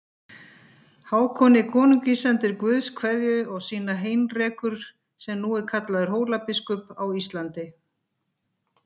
Hákoni konungi sendir Guðs kveðju og sína Heinrekur sem nú er kallaður Hólabiskup á Íslandi.